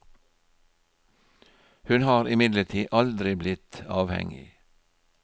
Hun har imidlertid aldri blitt avhengig.